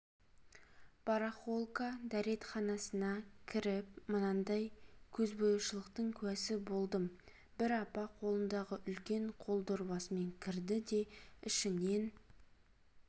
барахолка дретханасына кіріп мынандай көзбояушылықтың куәсі болдым бір апа қолындағы үлкен қол дорбасымен кірді де ішінен